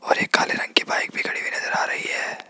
और एक काले रंग की बाइक भी खड़ी हुई नजर आ रही है।